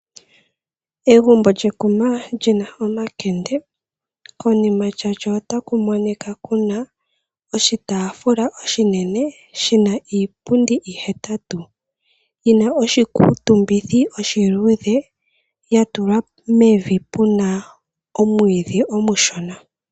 Egumbo lyekuma li na omakende, konima ya lyo otaku monika ku na oshitaafula oshinene shi na iipundi ihetatu yi na oshikuutumbitho oshiluudhe ya tulwa mevi pu na omwiidhi omushona.